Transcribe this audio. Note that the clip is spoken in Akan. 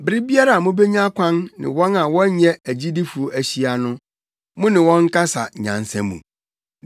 Bere biara a mubenya kwan ne wɔn a wɔnyɛ agyidifo ahyia no, mo ne wɔn nkasa nyansa mu.